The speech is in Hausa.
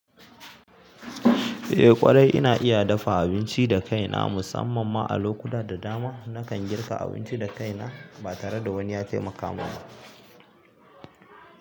Eh ƙwarai ina iya dafa abinci da kaina musamman ma a lokuta da dama nakan girka abinci da kaina ba tare da wani ya taimaka man ba.